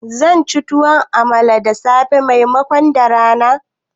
Zanci tuwon amala da safe maimakon da rana